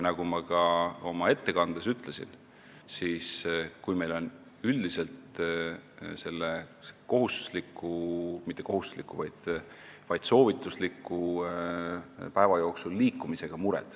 Nagu ma ka oma ettekandes ütlesin, meil on üldiselt mure päeva jooksul ette nähtud soovitusliku liikumisega.